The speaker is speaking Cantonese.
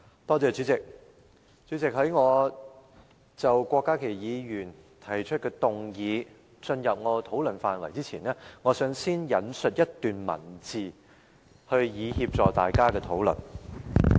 代理主席，在討論郭家麒議員提出的議案前，我想先引述一段文字，以協助大家討論。